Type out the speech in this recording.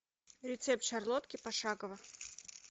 рецепт шарлотки пошагово